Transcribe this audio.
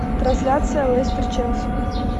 трансляция лестер челси